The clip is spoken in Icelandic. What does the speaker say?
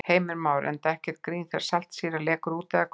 Heimir Már: Enda ekkert grín þegar saltsýra lekur út eða hvað?